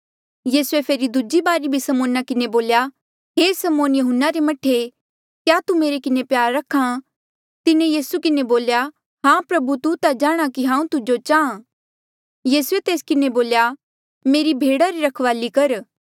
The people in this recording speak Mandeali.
यीसूए फेरी दूजी बारी भी समौना किन्हें बोल्या हे समौन यहून्ना रे मह्ठे क्या तू मेरे किन्हें प्यार रख्हा तिन्हें यीसू किन्हें बोल्या हां प्रभु तू ता जाणहां कि हांऊँ तुजो चाहां यीसूए तेस किन्हें बोल्या मेरी भेडा री रखवाली कर